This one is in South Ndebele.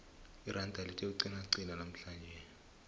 iranda lithe ukuqinaqina namhlanje